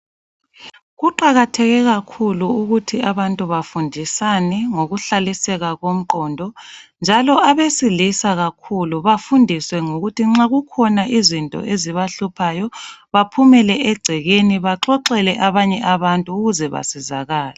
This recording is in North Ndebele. Kuqakatheke kakhulu ukuthi abantu bafundisane ngokuhlaliseka komqondo njalo abesilisa kakhulu befundiswe ukuthi nxa zikhona izinto ezibahluphayo baxoxele abantu ukuze basizakale.